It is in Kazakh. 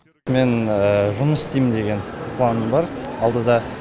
мен жұмыс істеймін деген планым бар алдыда